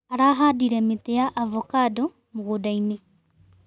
Arahandire mĩtĩ ya avocando mũgũndainĩ.